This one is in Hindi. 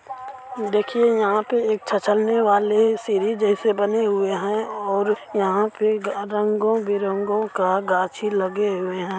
देखिये यहाँ पे एक छ्छ्लने वाले सीढ़ी जैसे बने हुए है और यहाँ के ग-रंगो बिरंगो का गाछी लगे हुए हैं।